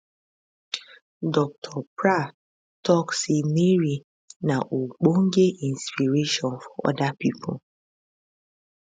dr prah tok say mary na ogbonge inspiration for oda pipo